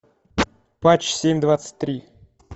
патч семь двадцать три